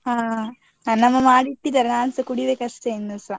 ಹಾ ನನ್ನ ಅಮ್ಮ ಮಾಡಿಟ್ಟಿದ್ದಾರೆ, ನಾನ್ಸ ಕುಡಿಬೇಕು ಅಷ್ಟೇ ಇನ್ನೂಸ.